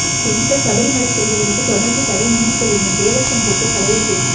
பெண்கள் சபரிமலை செல்வதற்கு தொடர்ந்து தடை நீடிக்கவேண்டும் தேவசம் போர்டு தலைவர் பேட்டி